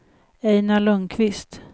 Ejnar Lundkvist